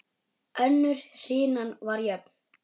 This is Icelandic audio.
Önnur hrinan var jöfn.